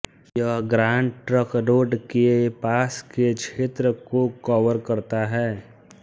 यह grand trunk road के पास के क्षेत्र को कवर करता है